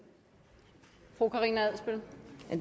regeringen